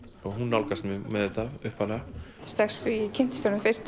hún nálgaðist mig með þetta upphaflega strax og ég kynntist honum fyrst